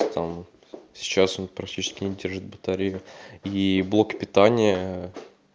там вот сейчас он практически не держит батарею и блок питания